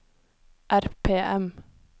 RPM